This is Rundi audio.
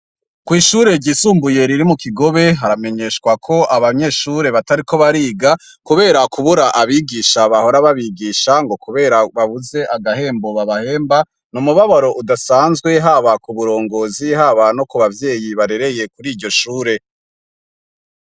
Kw'ishure ryisumbuye riri mu Kigobe haramenyeshwa ko abanyeshure batariko bariga kubera kubura abigisha bahora babigisha ngo kubera babuze agahembo babahemba umubabaro udasanzwe haba ku burongozi haba no ku bavyeyi barereye kuriryo shure.